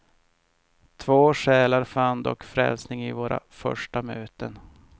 Två själar fann dock frälsning i våra första möten.